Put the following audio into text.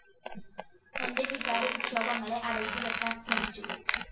എന്റെ വികാരവിക്ഷോഭങ്ങളെ അടക്കിവെയ്ക്കാന്‍ ശ്രമിച്ചു